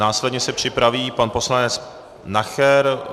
Následně se připraví pan poslanec Nacher.